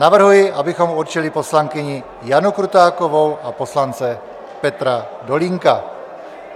Navrhuji, abychom určili poslankyni Janu Krutákovou a poslance Petra Dolínka.